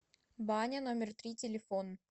баня номер три телефон